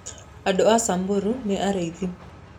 Andũ a Samburu nĩ arĩithi.